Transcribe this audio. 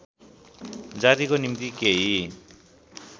जातिको निम्ति केही